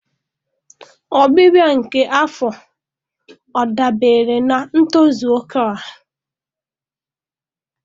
Ọbịbịa nke afọ ọ dabere na ntozu oke ọha?